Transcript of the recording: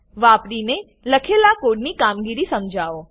વાપરીને લખેલા કોડની કામગીરી સમજાવો